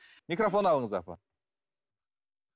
микрофон алыңыз апа